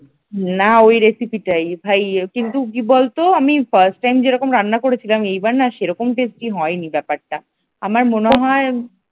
না ওই রেসিপিটাই ভাই কিন্তু কি বলতো আমি first time যেরকম রান্না করেছিলাম এইবার না সেই রকম tasty হয়নি ব্যাপারটা আমার মনে হয় ।